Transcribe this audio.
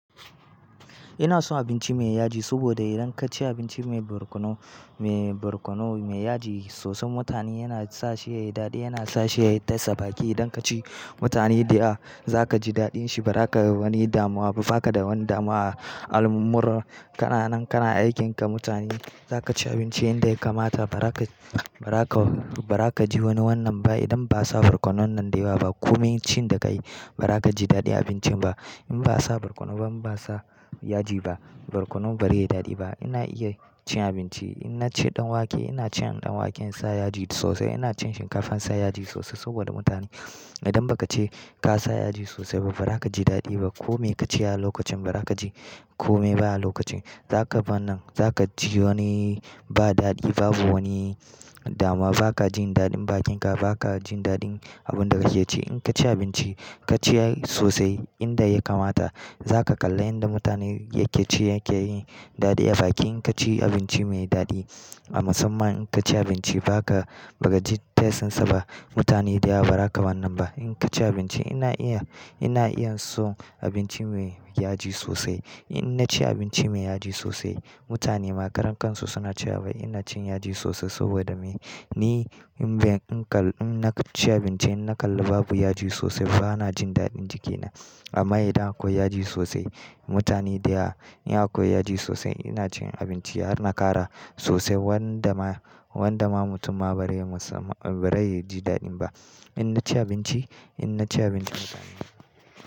Ina son abinci me yaji, saboda idan ka ci abinci me barkono, me barkono me yaji sosai, mutane yana sa shi yayi daɗi, yana sa shi yayi test baki. Idan ka ci, mutane da ya, za ka ji daɗin shi ba za ka wani damuwa ba, ba ka da wani damuwa a al'amurra. Kana nan, kana aikin ka, mutane za ka ci abinci inda ya kamata ba za ka, ba za ka, ba za ka ji wani wannan ba. Idan ba'a sa barkono nan da ya ba, ko me cin da ka yi, ba za ka ji daɗin abincin ba. In ba a sa barkono ba, in ba a sa yaji ba, barkono ba zai yi daɗi ba. Ina iya cin abinci, ina ce ɗanwake, ina cin ɗanwaken sa yaji sosai, ina cin shinkafan sa yaji sosai saboda mutane. Idan ba ka ce ka sa yaji sosai ba, ba za ka ji daɗi ba. Ko me ka ci a lokacin, ba za ka ji ko me ba a lokacin. Za ka ban nan, za ka ji wani ba daɗi, babu wani damuwa, ba ka jin daɗin bakin ka, ba ka jin daɗin abun da kake ci. In ka ci abinci, ka ci sosai inda ya kamata. Za ka kalla inda mutane yake ci yake yi daɗi a baki. In ka ci abinci me daɗi a musamman, in ka ci abinci ba ka, ba ka jin test ɗin sa ba, mutane da ya ba za ka wannan ba. In ka ci abinci, ina iya, ina iya son abinci me yaji sosai. In na ci abinci me yaji sosai, mutane ma karen kan su suna cewa "wai ina cin yaji sosai saboda me?" Ni inna ci abinci in na kalli babu yaji sosai bana jin daɗin jikina amma idan akwai yaji sosai, mutane da ya, in akwai yaji sosai, ina cin abinci har na ƙara sosai wanda ma, wanda ma mutum ma ba zai musa, ba zai ji daɗin ba. In na ci abinci, in na ci abinci mutane.